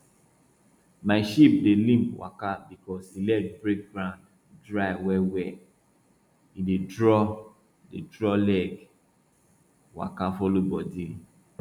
my sheep dey limp waka because e leg break ground dry wellwell e dey draw dey draw leg waka follow body